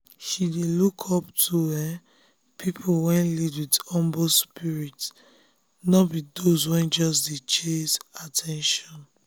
she dey look up to um people wey lead with humble spirit um no be those wey just dey chase at ten tion.